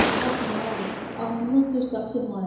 Baxın ha, ağzınızdan söz qaçırmayın!